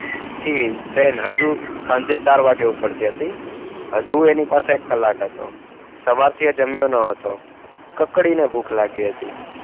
Free train હજુ સાંજે ચાર વાગે ઉપડતી હતી. હજુ એની પાસે એક કલાક હતો. સવારથી એ જમ્યો ન હતો. કકડીને ભૂખ લાગી હતી.